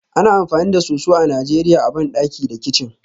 Ana amfani da soso a Najeriya a bandaki da kicin